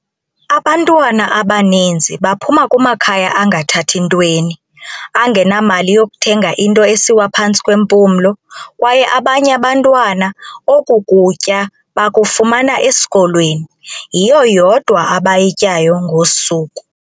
"Abantwana abaninzi baphuma kumakhaya angathathi ntweni, angenamali yokuthenga into esiwa phantsi kwempumlo, kwaye abanye abantwana oku kutya bakufumana esikolweni, yiyo yodwa abayityayo ngosuku."